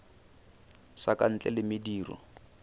sa ka ntle le mediro